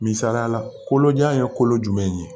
Misaliyala kolojan ye kolo jumɛn ye